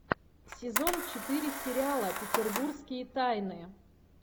сезон четыре сериала петербургские тайны